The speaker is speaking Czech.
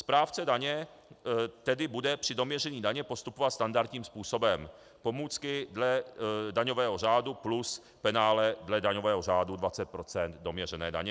Správce daně tedy bude při doměření daně postupovat standardním způsobem, pomůcky dle daňového řádu plus penále dle daňového řádu 20 % doměřené daně.